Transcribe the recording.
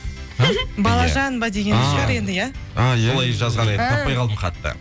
балажан ба дегені шығар енді иә солай жазған енді таппай қалдым хатты